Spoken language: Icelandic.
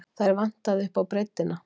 Þær vantaði upp á breiddina.